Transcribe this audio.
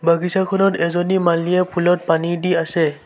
বাগিছাখনত এজনী মালীয়ে ফুলত পানী দি আছে।